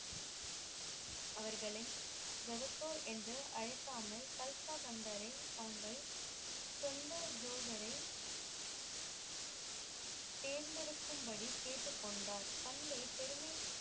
அவர்களின் ஜெகத்தூர் என்று அழைக்காமல் கால்ப்ஹா பந்தரை தாங்கள் சொந்த ஜோதரை தேர்ந்து எடுக்கும் படி கேட்டுக்கொண்டார் கண்டே பெருமை